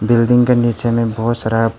building के नीचे में बहुत सारा--